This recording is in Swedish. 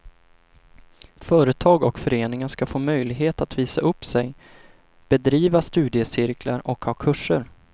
Företag och föreningar ska få möjlighet att visa upp sig, bedriva studiecirklar och ha kurser.